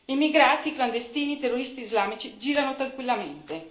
Immigrati clandestini e terroristi islamici girano tranquillamente.